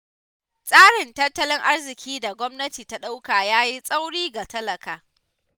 Tsarin tattallin arziƙin da gwamnati ta ɗauka ya yi tsauri ga talaka.